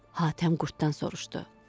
Hatəm qurddan soruşdu.